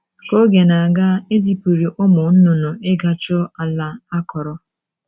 Ka oge na - aga, e zipụrụ ụmụ nnụnụ ịga chọọ ala akọrọ.